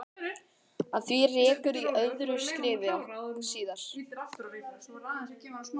Að því rekur í öðru skrifi síðar.